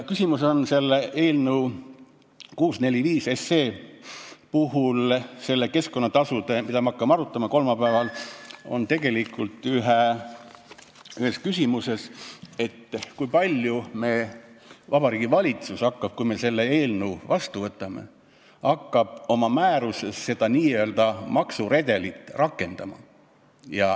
Küsimus on eelnõu 645 puhul, mida me hakkame arutama kolmapäeval, tegelikult selles, kui palju Vabariigi Valitsus, kui me selle eelnõu vastu võtame, hakkab oma määruses seda n-ö maksuredelit rakendama.